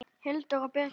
Hildur og Birgir.